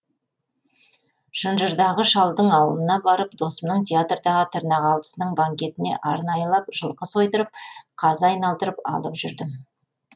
шынжырдағы шалдың аулына барып досымның театрдағы тырнақалдысының банкетіне арнайылап жылқы сойдырып қазы айналдырып алып жүрдім